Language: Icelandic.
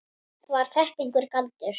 Var þetta einhver galdur?